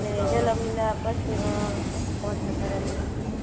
कुठे तुम्ही जास्त हे करू शकता.